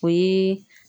O ye